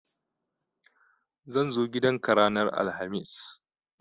Zan zo gidan ka ranar alhamis